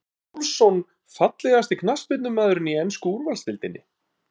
Emil Pálsson Fallegasti knattspyrnumaðurinn í ensku úrvalsdeildinni?